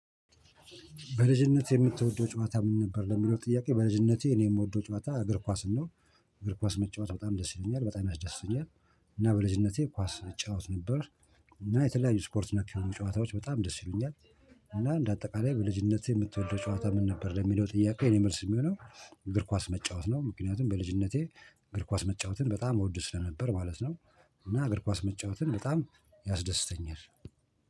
በልጅነትህ የምትወደው ጨዋታ ምን ነበር? ለሚለው ጥያቄ በልጅነቴ እኔ የምወደው ጨዋታ እግር ኳስን ነው። እግር ኳስ መጫወት በጣም ደስ ይለኛል በጣም ያስደስተኛል። እና በልጅነቴ ኳስ እጫወት ነበር። እና የተለያዩ ስፖርት ነክ የሆኑ ጨዋታዎች በጣም ደስ ይሉኛል። እና እንደ አጠቃላይ በልጅነቴ የምትወደው ጨዋታ ምን ነበር? ለሚለው ጥያቄ የኔ መልስ የሚሆነው እግር ኳስ መጫወት ነው። ምክንያቱም በልጅነቴ እግር ኳስ መጫወትን በጣም እወድ ስለነበር ማለት ነው። እና እግር ኳስ መጫወትን በጣም ያስደስተኛል